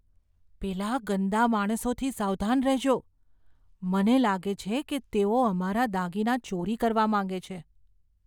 પેલા ગંદા માણસોથી સાવધાન રહેજો. મને લાગે છે કે તેઓ અમારા દાગીના ચોરી કરવા માગે છે.